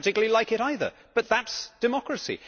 I did not particularly like it either, but that is democracy.